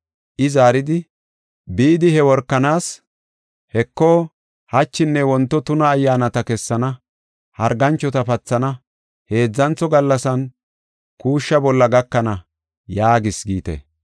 I zaaridi, “Bidi, he workanaas, ‘Heko, hachinne wonto tuna ayyaanata kessana, harganchota pathana, heedzantho gallasan kuushsha bolla gakana’ yaagis giite.